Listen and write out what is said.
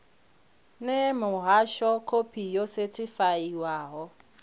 ṋee muhasho khophi yo sethifaiwaho